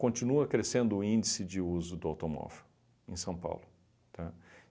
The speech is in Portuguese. Continua crescendo o índice de uso do automóvel em São Paulo, tá?